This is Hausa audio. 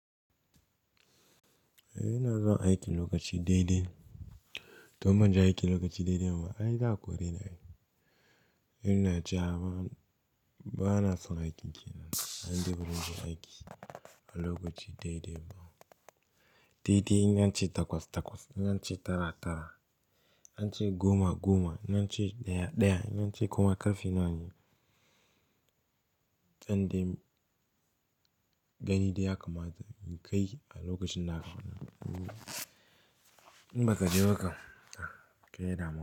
Eh ina zuwa aiki lokaci daidai. To man ja aiki lokaci daidai ma ai za a kore ni. Ina cewa ba na son aikin kenan. An debure ni aiki a lokaci daidai. Daidai in ance takwas-takwas, in an ce tara-tara, in ance goma-goma, in ance ɗaya-ɗaya, in ance koma ƙarfi nawa ne? Can dai gani dai ya kamata in kai a lokacin da aka faɗa. In ba ka je ba ka, kai ya dama.